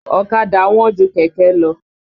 Ọ̀kadà wọ́n ju kẹ̀kẹ́ lọ.